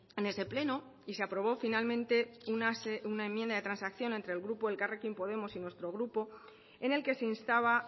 en ese pleno y se aprobó finalmente una enmienda de transacción entre el grupo elkarrekin podemos y nuestro grupo en el que se instaba